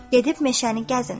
Gedib meşəni gəzin.